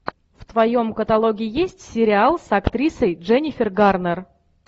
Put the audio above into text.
в твоем каталоге есть сериал с актрисой дженнифер гарнер